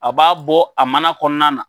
A b'a bɔ a mana kɔnɔna na,